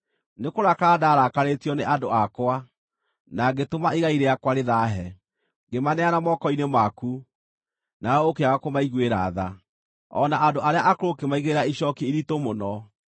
Nĩkũrakara ndaarakarĩĩtio nĩ andũ akwa, na ngĩtũma igai rĩakwa rĩthaahe; ngĩmaneana moko-inĩ maku, nawe ũkĩaga kũmaiguĩra tha. O na andũ arĩa akũrũ ũkĩmaigĩrĩra icooki iritũ mũno.